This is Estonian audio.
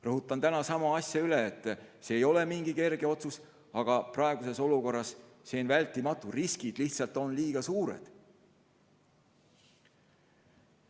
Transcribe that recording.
Rõhutan täna sama asja üle, et see ei ole kerge otsus, aga praeguses olukorras on see vältimatu, sest riskid on lihtsalt liiga suured.